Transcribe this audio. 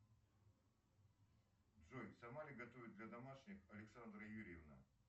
джой сама ли готовит для домашних александра юрьевна